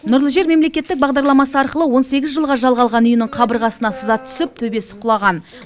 нұрлы жер мемлекеттік бағдарламасы арқылы он сегіз жыл жалға алған үйінің қабырғасына сызат түсіп төбесі құлаған